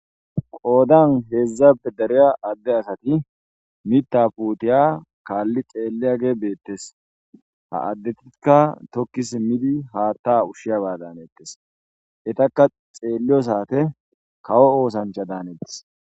Qoodan heedzzabe dariya adde asati mita puutiya kaalli xeelliya ge beettes ha addetikka tokkis midi haatta ushshiyaba daanettes etakka xeelliyo saate kawo oosancha daanettes